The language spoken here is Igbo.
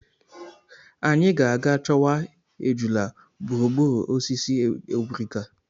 Anyị ga-aga chọwa ejula gburugburu osisi obrika.